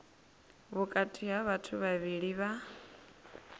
vhukati ha vhathu vhavhili vha